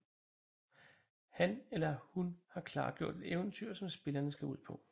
Han eller hun har klargjort et eventyr som spillerne skal ud på